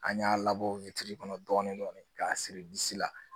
An y'a labɔ kɔnɔ dɔɔnin dɔɔnin k'a siri disi la